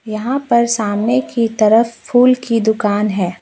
यहां पर सामने की तरफ फूल की दुकान है।